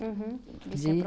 Uhum. De ser